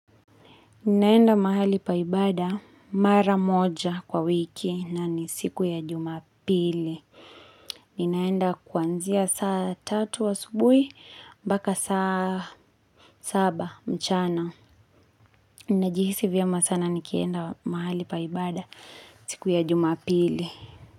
Ninaenda mahali pa ibada mara moja kwa wiki na ni siku ya jumapili. Ninaenda kwanzia saa tatu wa asubui mbaka saa saba mchana. Ninajihisi vyema sana nikienda mahali pa ibada siku ya jumapili.